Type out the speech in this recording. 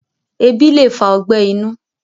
ẹbi le fa ọgbẹ inu